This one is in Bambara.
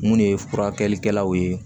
Mun de ye furakɛlikɛlaw ye